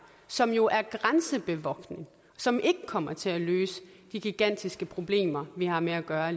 som jo er grænsebevogtning som ikke kommer til at løse de gigantiske problemer vi har med at gøre